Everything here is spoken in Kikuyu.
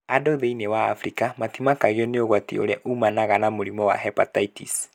Andũ thĩinĩ wa Afrika matimakagio nĩ ũgwati ũrĩa ũmanaga na mũrimũ wa hepatitis